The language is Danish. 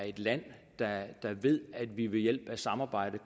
et land der ved at vi ved hjælp af samarbejde